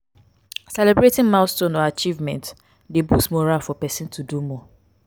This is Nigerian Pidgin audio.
celebrating milestone or achievement de boost morale for persin to do more